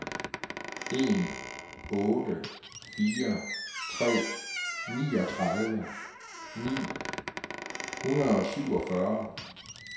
en otte fire tre niogtredive ni hundrede og syvogfyrre